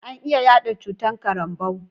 An iya yaɗa cutar karambau